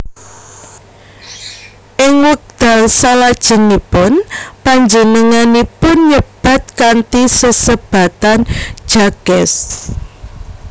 Ing wekdal salajengipun panjenenganipun nyebat kanthi sesebatan Jacques